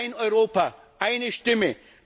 Ein Europa, eine Stimme!